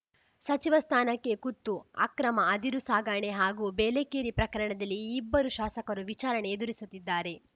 ಸಚಿವ ಸ್ಥಾನಕ್ಕೆ ಕುತ್ತು ಅಕ್ರಮ ಅದಿರು ಸಾಗಣೆ ಹಾಗೂ ಬೇಲೆಕೇರಿ ಪ್ರಕರಣದಲ್ಲಿ ಈ ಇಬ್ಬರು ಶಾಸಕರು ವಿಚಾರಣೆ ಎದುರಿಸುತ್ತಿದ್ದಾರೆ